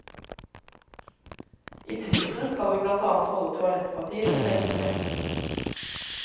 I prisen skal vi blant annet holde toalettpapir og sengetøy.